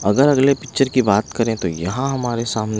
अगर अगले पिक्चर की बात करें तो यहाँ हमारे सामने--